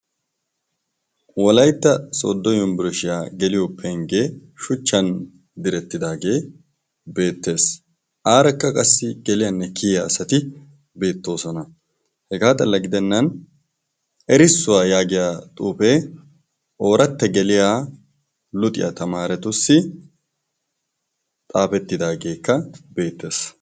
Wolaytta soddo yumbbirishiyaa geliyo penggee shuchchan direttidaagee beettees. Aarakka qassi geliyaanne kiyiya asati beettoosona hegaa xalla gidennan erissuwaa yaagiya xuufee ooratte geliya luxiyaa tamaaratussi xaafettidaageekka beettees.